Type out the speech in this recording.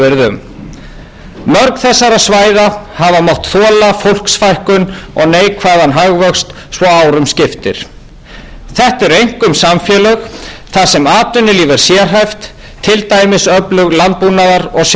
svo árum skiptir þetta eru einkum samfélög þar sem atvinnulíf er sérhæft til dæmis öflug landbúnaðar og sjávarútvegshéruð þarna er um að ræða atvinnugreinar